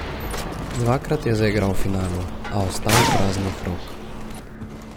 Dvakrat je zaigral v finalu, a ostal praznih rok.